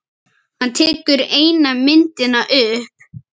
Hann tekur eina myndina upp.